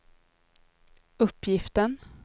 uppgiften